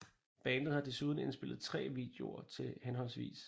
Bandet har desuden indspillet 3 videoer til hhv